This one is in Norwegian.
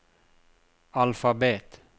alfabet